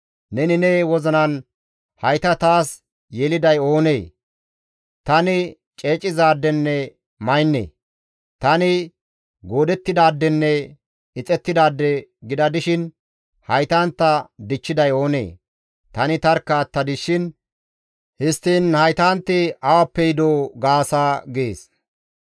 Neni ne wozinan, ‹Hayta taas yeliday oonee? Tani ceecizaadenne maynne; tani goodettidaadenne ixettidaade gida dishin haytantta dichchiday oonee? Tani tarkka attadis shin histtiin haytanti awappe yidoo?› gaasa» gees.